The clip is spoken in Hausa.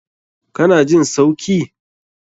Ka na jin sauki?